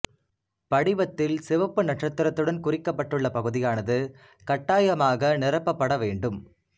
படிவத்தில் சிவப்பு நட்சத்திரத்துடன் குறிக்கப்பட்டுள்ள பகுதியானது கட்டாயமாக நிரப்பப்பட வேண்டும்